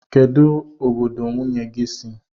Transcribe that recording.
Kedụ obodo nwunye gị si?